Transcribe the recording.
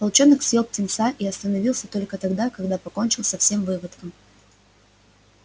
волчонок съел птенца и остановился только тогда когда покончил со всем выводком